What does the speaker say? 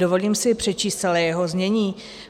Dovolím si přečíst celé jeho znění.